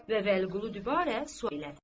Və Vəliqulu dübarə sual elədi.